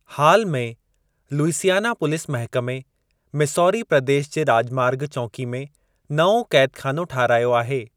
हाल में, लुइसियाना पुलिस महिकमे, मिसौरी प्रदेशु जे राॼमार्ग चौंकी में नओं क़ैदख़ानो ठाहिरायो आहे।